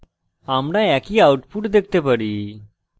আমরা একই output দেখতে পারি